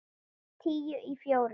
Tíu í fjórar.